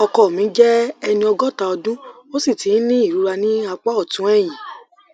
ọkọ mi jẹ ẹni ẹni ọgọta ọdún ó sì ti ń ní ìrora ní apá ọtún ẹyìn